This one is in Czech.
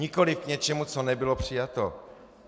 Nikoliv k něčemu, co nebylo přijato.